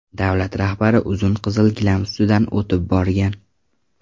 Davlat rahbari uzun qizil gilam ustidan o‘tib borgan.